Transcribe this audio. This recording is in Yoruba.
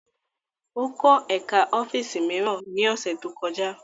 Ó kọ́ ẹ̀ká ọ́fíìsì mìíràn ní ọ̀sẹ̀ tó kọjá